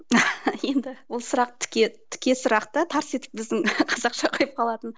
енді бұл сұрақ тіке тіке сұрақ та тарс етіп біздің қазақша қойып қалатын